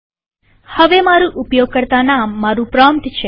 હવે મારુ ઉપયોગકર્તા નામ મારુ પ્રોમ્પ્ટ છે